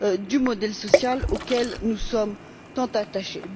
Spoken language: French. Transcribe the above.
du modèle social auquel nous sommes tant attachés.